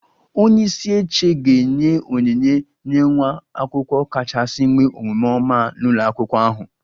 Onye isi oche ga-enye onyinye nye nwa akwụkwọ kachasị nwee omume oma n'ụlọ akwụkwọ ahụ